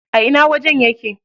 A ina wajen yake?